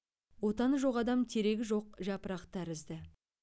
отаны жоқ адам терегі жоқ жапырақ тәрізді